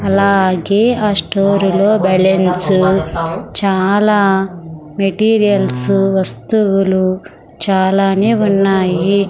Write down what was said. అలాగే ఆ స్టోర్ లో బెలూన్స్ చాలా మెటీరియల్స్ వస్తువులు చాలానే ఉన్నాయి.